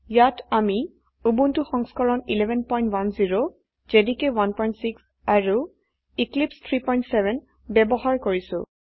ইয়াত আমি উবুন্টু সংস্কৰণ 1110 জেডিকে 16 আৰু এক্লিপছে 370 ব্যবহাৰ কৰছি